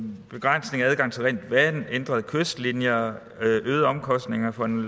begrænsning af adgang til rent vand ændrede kystlinjer øgede omkostninger for en